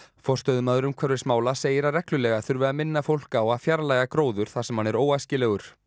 forstöðumaður umhverfismála segir að reglulega þurfi að minna fólk á að fjarlægja gróður þar sem hann er óæskilegur